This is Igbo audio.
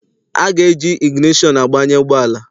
A ga-eji igineshọn gbanye ụgbọala.